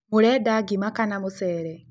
Mũrenda ngima kana mũcere?